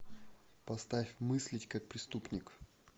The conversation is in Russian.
поставь мыслить как преступник